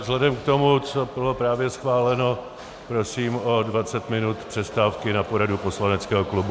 Vzhledem k tomu, co bylo právě schváleno, prosím o 20 minut přestávky na poradu poslaneckého klubu.